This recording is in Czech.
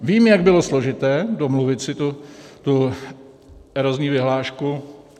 Vím, jak bylo složité domluvit si tu erozní vyhlášku.